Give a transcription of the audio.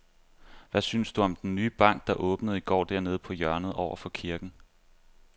Hvad synes du om den nye bank, der åbnede i går dernede på hjørnet over for kirken?